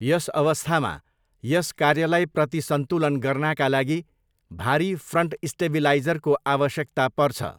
यस अवस्थामा यस कार्यलाई प्रतिसन्तुलन गर्नाका लागि भारी फ्रन्ट स्टेबिलाइजरको आवश्यकता पर्छ।